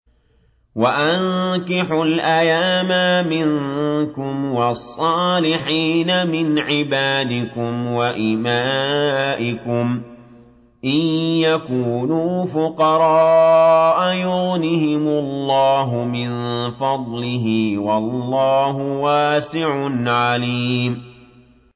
وَأَنكِحُوا الْأَيَامَىٰ مِنكُمْ وَالصَّالِحِينَ مِنْ عِبَادِكُمْ وَإِمَائِكُمْ ۚ إِن يَكُونُوا فُقَرَاءَ يُغْنِهِمُ اللَّهُ مِن فَضْلِهِ ۗ وَاللَّهُ وَاسِعٌ عَلِيمٌ